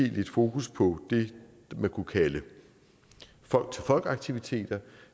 lidt fokus på det man kunne kalde folk til folk aktiviteter